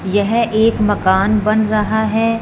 यह एक मकान बन रहा हैं।